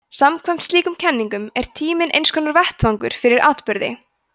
samkvæmt slíkum kenningum er tíminn einskonar vettvangur fyrir atburði